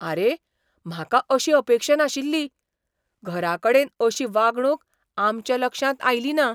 आरे, म्हाका अशी अपेक्षा नाशिल्ली. घराकडेन अशी वागणूक आमच्या लक्षांत आयली ना.